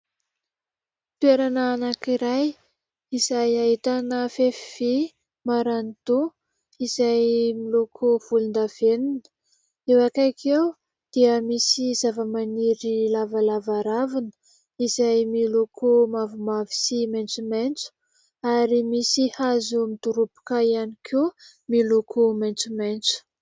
Toerana anankiray izay ahitana fefy vy marani-doha, izay miloko volondavenona. Eo akaiky eo dia misy zavamaniry lavalava ravina izay miloko mavomavo sy maitsomaitso, ary misy hazo midoroboka ihany koa miloko maitsomaitso.